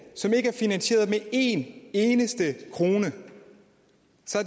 som ikke er finansieret med én eneste krone